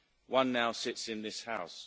One now sits in this House.